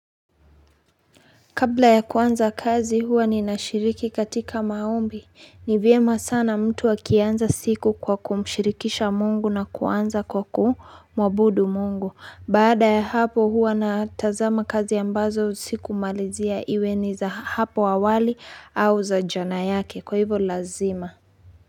Kabla ya kuanza kazi huwa ninashiriki katika maombi. Ni vyema sana mtu akianza siku kwa kumshirikisha Mungu na kuanza kwa ku mwabudu Mungu. Baada ya hapo huwa na tazama kazi ambazo sikumalizia iwe ni za ha hapo awali, au za jana yake. Kwa hivyo lazima.